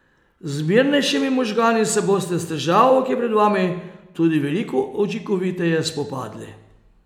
Z mirnejšimi možgani se boste s težavo, ki je pred vami, tudi veliko učinkoviteje spopadli.